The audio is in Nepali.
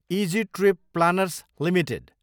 easy trip planners Ltd